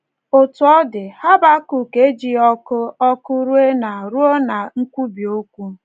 Otú ọ dị, Habakọk ejighị ọkụ ọkụ ruo ná ruo ná nkwubi okwu.